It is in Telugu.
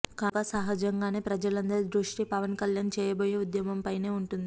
కనుక సహజంగానే ప్రజలందరి దృష్టి పవన్ కళ్యాణ్ చేయబోయే ఉద్యమంపైనే ఉంటుంది